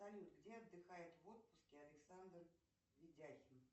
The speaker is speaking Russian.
салют где отдыхает в отпуске александр видяхин